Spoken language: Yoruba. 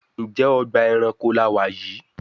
Njé Ọgbà ẹranko là wá yí?